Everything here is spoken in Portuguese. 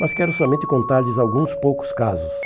Mas quero somente contar-lhes alguns poucos casos.